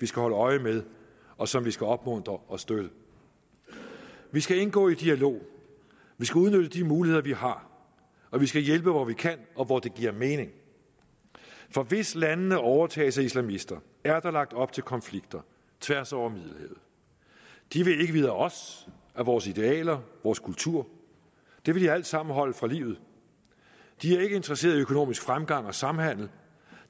vi skal holde øje med og som vi skal opmuntre og støtte vi skal indgå i dialog vi skal udnytte de muligheder vi har og vi skal hjælpe hvor vi kan og hvor det giver mening for hvis landene overtages af islamister er der lagt op til konflikter tværs over middelhavet de vil ikke vide af os af vores idealer vores kultur det vil de alt sammen holde fra livet de er ikke interesseret i økonomisk fremgang og samhandel